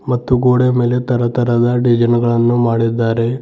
ಮತ್ತು ಗೋಡೆಯ ಮೇಲೆ ತರತರಹದ ಡಿಸೈನ್ ಗಳನ್ನು ಮಾಡಿದ್ದಾರೆ.